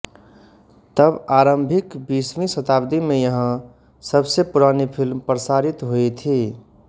तब आरंभिक बीसवीं शताब्दी में यहां सबसे पुरानी फिल्म प्रसारित हुयी थी